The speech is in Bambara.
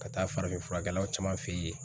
Ka taa farafin furakɛlaw caman fe yen.